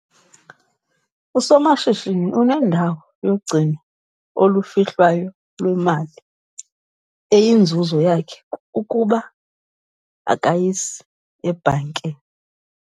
Usomashishini unendawo yogcino olufihlwayo lwemali eyinzuzo yakhe kuba akayisi ebhankini.